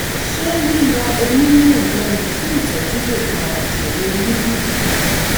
ṣé yíyọ eyín mẹ́rin lẹ́nu fún ìtọ́jú lè fa ìṣòro eyín bí?